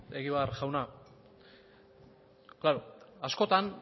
beno egibar jauna klaro askotan